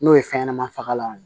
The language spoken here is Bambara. N'o ye fɛnɲɛnɛman fagalanw ye